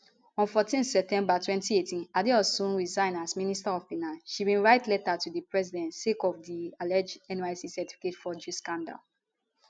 on 14 september 2018 adeosun resign as minister of finance she bin write letter to di president sake of di alleged nysc certificate forgery scandal